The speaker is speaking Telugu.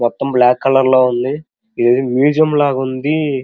మొత్తం బ్లాక్ కలర్ లా ఉంది. ముజియం లా ఉంది.